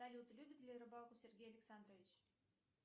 салют любит ли рыбалку сергей александрович